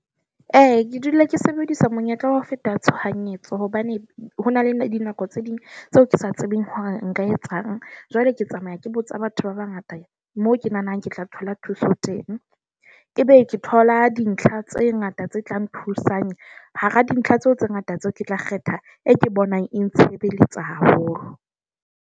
Eya, ke dula ke sebedisa monyetla wa ho feta tshohanyetso hobane ho na le dinako tse ding tseo ke sa tsebeng hore nka etsang. Jwale ke tsamaya ke botsa batho ba bangata moo ke nahanang ke tla thola thuso teng. Ebe ke thola dintlha tse ngata tse tlang thusang hara dintlha tseo tse ngata tseo ke tla kgetha e ke bonang e ntshebeletsa haholo.